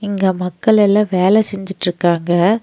இங்க மக்கள் எல்லா வேல செஞ்சிட்ருக்காங்க.